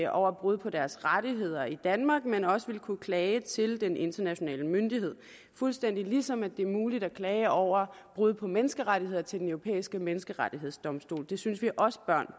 over brud på deres rettigheder i danmark men også vil kunne klage til den internationale myndighed fuldstændig ligesom det er muligt at klage over brud på menneskerettigheder til den europæiske menneskerettighedsdomstol det synes vi også børn